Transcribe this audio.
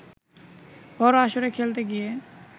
বড় আসরে খেলতে গিয়ে